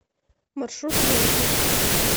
маршрут рента